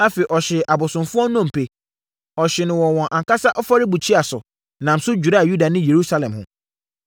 Afei, ɔhyee abosomfoɔ nnompe. Ɔhyee no wɔn ankasa afɔrebukyia so, nam so dwiraa Yuda ne Yerusalem ho.